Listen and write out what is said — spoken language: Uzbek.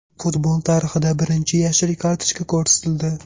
Futbol tarixida birinchi yashil kartochka ko‘rsatildi.